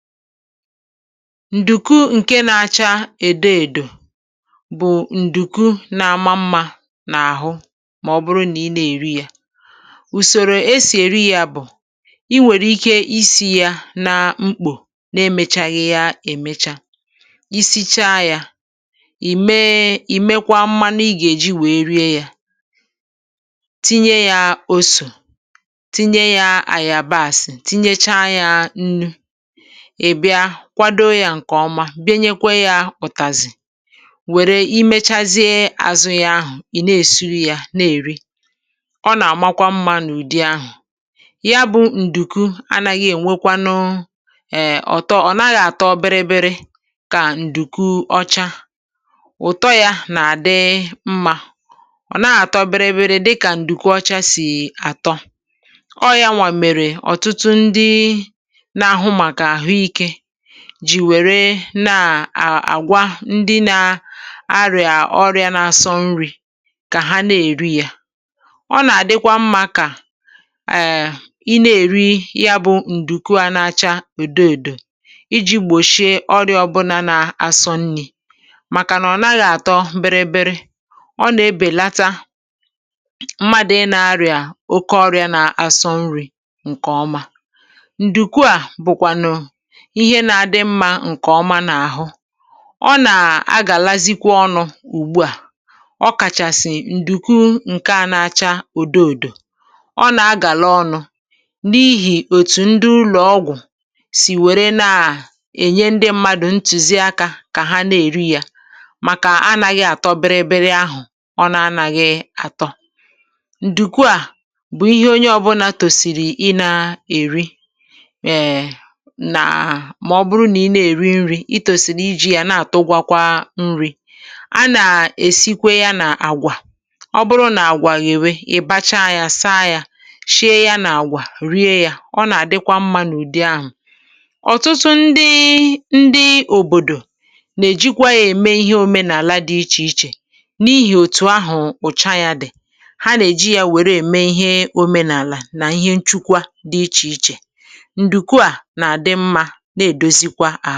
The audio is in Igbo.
Ǹdùku ǹke na-acha èdo èdò bụ̀ ǹdùku na-ama mmȧ n’àhụ mà ọ bụrụ nà ị na-èri ya. Ùsòrò esì èri yȧ bụ̀ ị nwèrè ike ịsi yȧ na mkpò na-emėchaghị ya èmecha, isi̇chaa yȧ ì mee ì mekwaa mmanụ ị gà-èji wèe rie yȧ, tinye yȧ osụ̀ tinye yȧ àyàbàsị̀ tinyecha yȧ nnu, ị bia kwado ya nke oma, bienyekwa ya ụ̀tàzì wère imechazịa àzụ ya ahụ̀ ì na-èsu ya na-èri, ọ nà-àmakwa mmȧ n’ụdị ahụ̀. Ya bụ ǹdùku anȧghị ènwekwanụ um ọ̀tọ, ọ̀ naghị àtọ biribiri kà ǹdùku ọcha, ụ̀tọ ya nà-àdị mmȧ ọ̀ naghị àtọ biribiri dịkà ǹdùku ọcha sì àtọ. Ọ ya mèrè ọ̀tụtụ ndị na ahu maka ahuike jì wère na à àgwa ndị na arị̀à ọrịȧ n’asọ nri̇ kà ha na-èri yȧ. Ọ nà-àdịkwa mmȧ kà um i na-èri ya bụ̇ ǹdùku n’acha òdo èdò iji̇ gbòsie ọrịȧ ọbụlà n’asọ nrị̇, màkà nà ọ̀ na gà-àtọ biribiri. Ọ nà-ebèlata mmadụ̀ ị na-arịà oke ọrịȧ na asọ nri̇ ǹkè ọma. Ǹdùku a bụ̀kwànụ̀ ihe na adimma nke oma na ahu, ọ nà-agàlàzikwa ọnụ̇ ùgbu à, ọ kàchàsì ǹdùku ǹke à nȧ-acha èdo èdò. Ọ nà-agàla ọnụ̇, n’ihì òtù ndị ụlọ̀ ọgwụ̀ sì wère nà ènye ndị mmadụ̀ ntùzi akȧ kà ha nà-èri yȧ màkà anȧghị̇ àtọ biri biri ahụ̀ ọ na-anȧghị̇ àtọ. Ǹdùku à bụ̀ ihe onye ọbụlà tòsìrì ịnȧ-èri um na mà ọ bụrụ nà ị nȧ-èri nri̇ itòsìlì iji̇ yȧ na-àtụgwakwa nri̇, a nà-èsikwe ya nà-àgwà. Ọbụrụ nà-àgwà yèwe ị̀ bacha yȧ saa yȧ shie ya nà-àgwà rie yȧ, ọ nà-àdịkwa mmȧ n’ụ̀dị ahụ̀. Ọ̀tụtụ ndị ndị òbòdò nà-èjikwa yȧ ème ihe òmenàla dị ichè ichè, n’ihì òtù ahụ̀ ùcha yȧ dị̀, ha nà-èji yȧ wère ème ihe òmenàla nà ihe nchukwa dị ichè ichè. Ǹdùku a na adimma na-edozikwa ahụ.